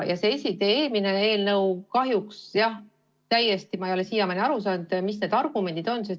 See eelmine eelnõu kahjuks, jah – ma ei ole siiamaani aru saanud, mis on need argumendid.